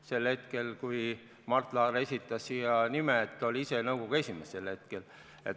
Sel hetkel, kui Mart Laar esitas nimed, oli ta ise nõukogu esimees.